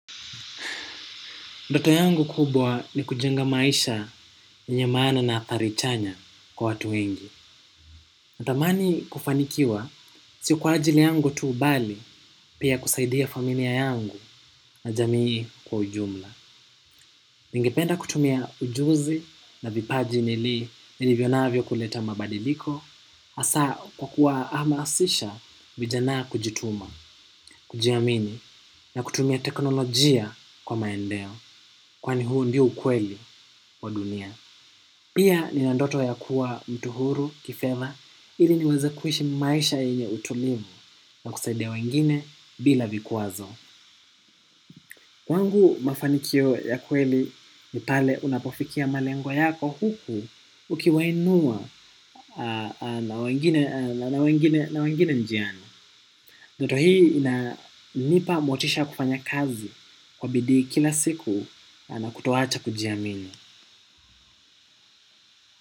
Ndoto yangu kubwa ni kujenga maisha yenye maana na athari chanya kwa watu wengi. Natamani kufanikiwa siyo kwa ajili yangu tu bali pia kusaidia familia yangu na jamii kwa ujumla. Ningependa kutumia ujuzi na vipaji nilivyo navyo kuleta mabadiliko hasa kwa kuwahamasisha vijana kujituma. Kujiamini na kutumia teknolojia kwa maendeleo kwani huu ndio ukweli wa dunia. Pia nina ndoto ya kuwa mtu huru kifedha ili niweze kuishi maisha yenye utulivu na kusaidia wengine bila vikwazo. Kwangu mafanikio ya kweli ni pale unapofikia malengo yako huku ukiwainua na wengine njiani. Ndoto hii inanipa motisha ya kufanya kazi kwa bidii kila siku na kutoacha kujiamini.